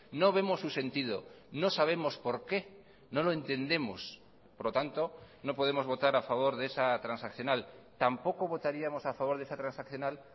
no vemos su sentido no sabemos por qué no lo entendemos por lo tanto no podemos votar a favor de esa transaccional tampoco votaríamos a favor de esa transaccional